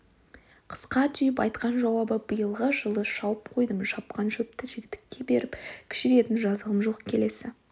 қысқа түйіп айтқан жауабы биылғы жылы шауып қойдым шапқан шөпті жігітекке беріп кішірейетін жазығым жоқ келесі